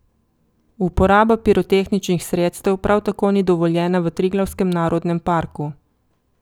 Uporaba pirotehničnih sredstev prav tako ni dovoljena v Triglavskem narodnem parku.